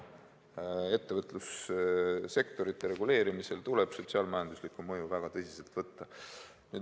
Ettevõtlussektorite reguleerimisel tuleb sotsiaal-majanduslikku mõju väga tõsiselt võtta.